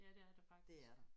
Ja det er der faktisk